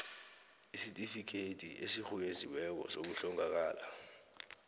isitifikhethi esirhunyeziweko sokuhlongakala